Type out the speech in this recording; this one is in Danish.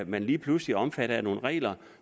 man lige pludselig omfattet af nogle regler